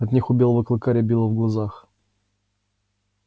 от них у белого клыка рябило в глазах